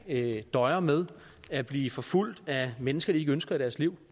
døjer med at blive forfulgt af mennesker de ikke ønsker i deres liv